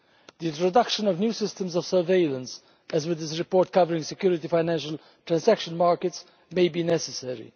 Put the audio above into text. The introduction of new systems of surveillance, as with this report covering security financial transaction markets, may be necessary.